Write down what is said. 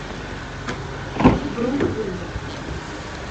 брук вызов